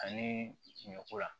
Ani ɲɔ ko la